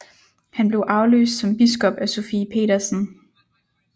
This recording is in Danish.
Han blev afløst som biskop af Sofie Petersen